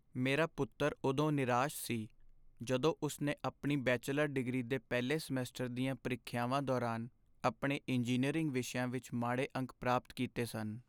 ਮੇਰਾ ਪੁੱਤਰ ਉਦੋਂ ਨਿਰਾਸ਼ ਸੀ ਜਦੋਂ ਉਸ ਨੇ ਆਪਣੀ ਬੈਚਲਰ ਡਿਗਰੀ ਦੇ ਪਹਿਲੇ ਸਮੈਸਟਰ ਦੀਆਂ ਪ੍ਰੀਖਿਆਵਾਂ ਦੌਰਾਨ ਆਪਣੇ ਇੰਜੀਨੀਅਰਿੰਗ ਵਿਸ਼ਿਆਂ ਵਿੱਚ ਮਾੜੇ ਅੰਕ ਪ੍ਰਾਪਤ ਕੀਤੇ ਸਨ।